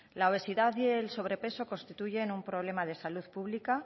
la obesidad y el sobrepeso constituyen un problema de salud pública